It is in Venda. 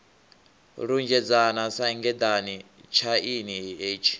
lunzhedzana sa ngeḓane tshaini hetshi